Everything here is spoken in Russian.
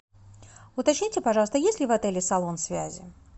уточните пожалуйста есть ли в отеле салон связи